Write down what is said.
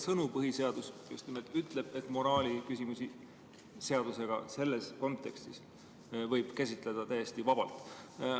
" Põhiseadus ütleb otsesõnu, et moraaliküsimusi võib seadusega selles kontekstis käsitleda täiesti vabalt.